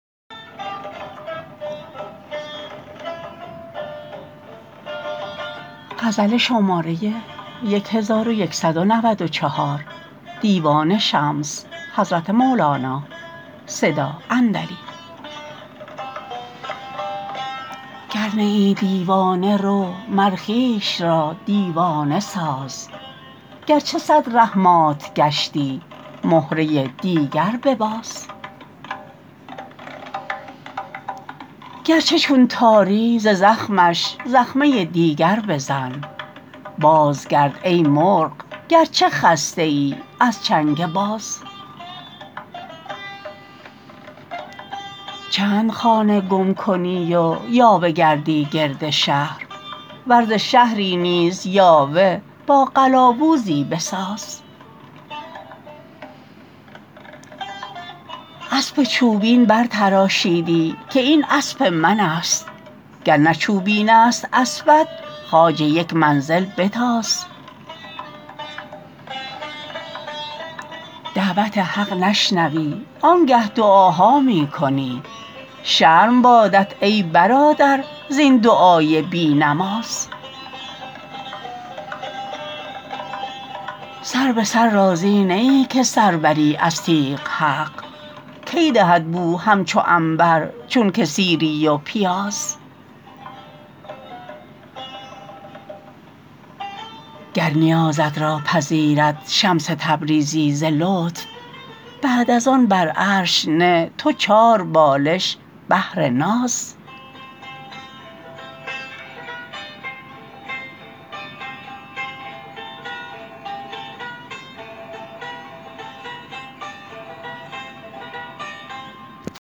گر نه ای دیوانه رو مر خویش را دیوانه ساز گرچه صد ره مات گشتی مهره دیگر بباز گرچه چون تاری ز زخمش زخمه دیگر بزن بازگرد ای مرغ گرچه خسته ای از چنگ باز چند خانه گم کنی و یاوه گردی گرد شهر ور ز شهری نیز یاوه با قلاوزی بساز اسب چوبین برتراشیدی که این اسب منست گر نه چوبینست اسبت خواجه یک منزل بتاز دعوت حق نشنوی آنگه دعاها می کنی شرم بادت ای برادر زین دعای بی نماز سر به سر راضی نه ای که سر بری از تیغ حق کی دهد بو همچو عنبر چونک سیری و پیاز گر نیازت را پذیرد شمس تبریزی ز لطف بعد از آن بر عرش نه تو چاربالش بهر ناز